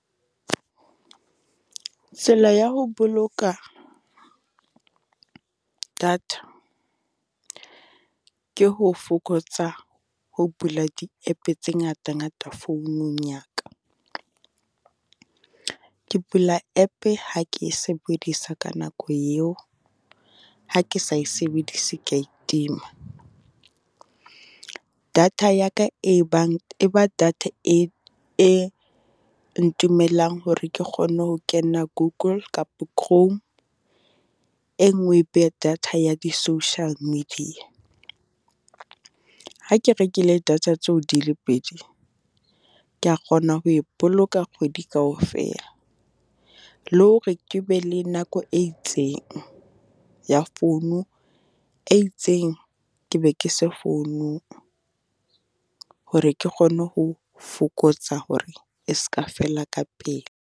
Tsela ya ho boloka data ke ho fokotsa ho bula di-app-e tse ngata ngata founung ya ka. Ke bula app-e ha ke e sebedisa ka nako eo, ha ke sa e sebedise ke ya e tima. Data ya ka e bang e ba data e e ntumellang hore ke kgone ho kena Google kapo Chrome. E nngwe e be data ya di-social media. Ha ke rekile data tseo di le pedi, ke ya kgona ho e boloka kgwedi kaofela. Le hore ke be le nako e itseng ya founu e itseng, ke be ke se founung. Hore ke kgone ho fokotsa hore e ska fela ka pele.